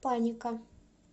паника